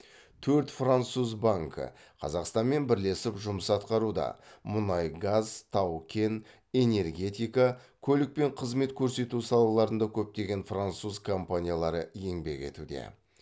төрт француз банкі қазақстанмен бірлесіп жұмыс атқаруда мұнай газ тау кен энергетикада көлік пен қызмет көрсету салаларында көптеген француз компаниялары еңбек етуде